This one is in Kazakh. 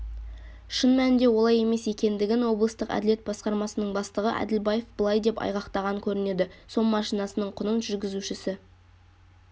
шын мәнінде олай емес екендігін облыстық әділет басқармасының бастығы әділбаев былай деп айғақтаған көрінеді сом машнасының құнын жүргізушісі